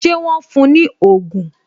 Ṣé wọn fún ní ogún?